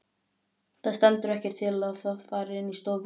Það stendur ekkert til að það fari inn í stofu.